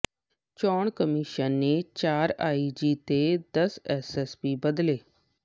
ਚੋਣ ਕਮਿਸ਼ਨ ਨੇ ਚਾਰ ਆਈਜੀ ਤੇ ਦਸ ਐਸਐਸਪੀ ਬਦਲੇ